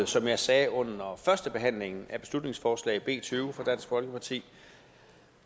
som jeg sagde under førstebehandlingen af beslutningsforslag nummer b tyve fra dansk folkeparti